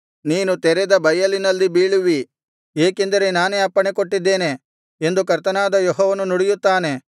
ನೀನು ತೆರೆದ ಬಯಲಿನಲ್ಲಿ ಬೀಳುವಿ ಏಕೆಂದರೆ ನಾನೇ ಅಪ್ಪಣೆ ಕೊಟ್ಟಿದ್ದೇನೆ ಎಂದು ಕರ್ತನಾದ ಯೆಹೋವನ ನುಡಿಯುತ್ತಾನೆ